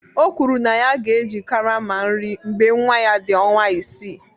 O kwuru na ya ga-eji karama nri mgbe nwa ya dị ọnwa isii